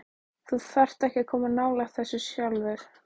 Þú þarft ekki að koma nálægt þessu sjálfur.